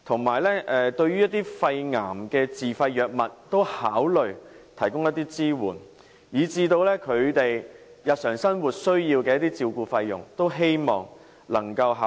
此外，對於一些肺癌的自費藥物可以考慮提供一些支援，以至他們日常生活需要的照顧費用，亦希望當局能夠多作考慮。